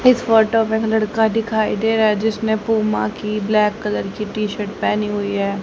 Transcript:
इस फोटो में लड़का दिखाई दे रहा है जिसने पूमा की ब्लैक कलर की टी शर्ट पहनी हुई है।